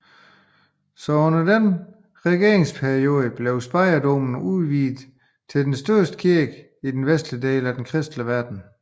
Så under denne regeringsperiode blev Speyerdomen udvidet til den største kirke i den vestlige kristne verden